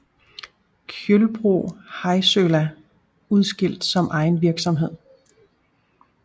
Kjølbro Heilsøla udskilt som egen virksomhed